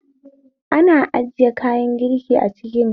Ana ajiya kayan girki a kicin ne